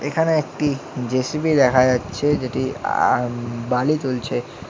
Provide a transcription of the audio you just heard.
এখানে একটি জে_সি_বি দেখা যাচ্ছে যেটি অ্যা ম বালি তুলছে।